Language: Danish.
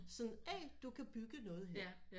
Sådan hey du kan bygge noget her